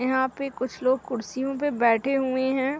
यहाँ पे कुछ लोग कुर्सियों पे बैठे हुए हैं।